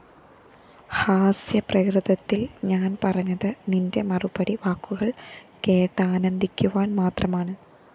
ഹാസ്യപ്രകൃതത്തില്‍ ഞാന്‍ പറഞ്ഞത് നിന്റെ മറുപടി വാക്കുകള്‍ കേട്ടാനന്ദിക്കുവാന്‍ മാത്രമാണ്